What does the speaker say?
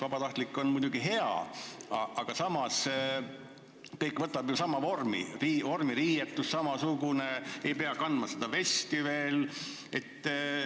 Vabatahtlikkus on muidugi hea, aga samas võtab kõik ju sama vormi: vormiriietus on samasugune, ei pea veel kandma seda vesti.